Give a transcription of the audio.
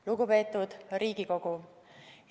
Lugupeetud Riigikogu!